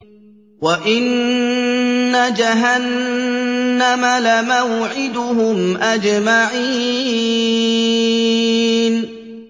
وَإِنَّ جَهَنَّمَ لَمَوْعِدُهُمْ أَجْمَعِينَ